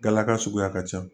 Galaka suguya ka ca